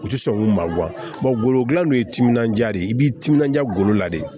U ti sɔn k'u ma golo dilan ye timinandiya de ye i b'i timinanja golo la de